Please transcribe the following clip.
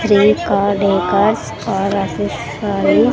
Three car decors are .